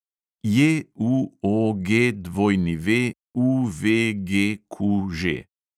JUOGWUVGQŽ